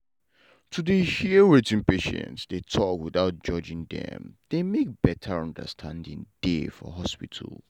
to dey hear wetin patients dey talk without judging dem dey make better understanding dey for hospital.